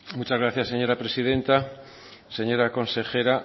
muchas gracias señora presidenta señora consejera